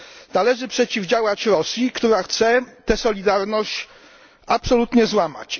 Należy przeciwdziałać Rosji, która chce tę solidarność absolutnie złamać.